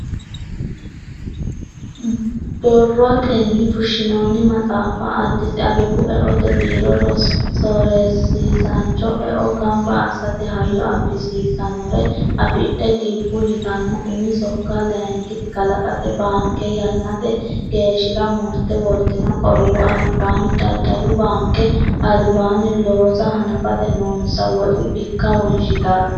Borroteni fushshinonni maxaaffa, Addis abbebu eote biiro sorisiisancho eo gamba assate hayyo abbisiisanore affidhe gibbu yittano umi sokka layinkiti kalqete baanke yannate geeshshira murte wortino qorowo albaanni daddalu baanke albaani looso hanafate noonsa woxu bikka wonshittara